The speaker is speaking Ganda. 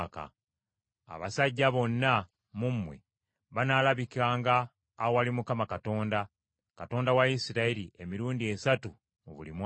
Abasajja bonna mu mmwe banaalabikanga awali Mukama Katonda, Katonda wa Isirayiri, emirundi esatu mu buli mwaka.